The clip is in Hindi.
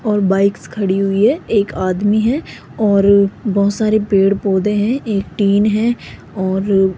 और बाइक्स खड़ी हुई है एक आदमी है और बहोत सारे पेड़-पौधे हैं एक टीन है और --